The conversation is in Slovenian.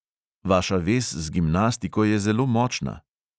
Vaša vez z gimnastiko je zelo močna.